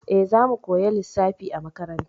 E, za mu koya lissafi a makaranta.